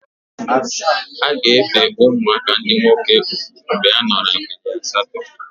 A ga-ebe ụmụaka ndị nwoke ugwu mgbe a nọrọ abalị asatọ.